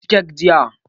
Na ci kek jiya